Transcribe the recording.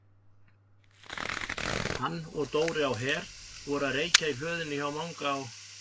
Hann og Dóri á Her voru að reykja í hlöðunni hjá Manga á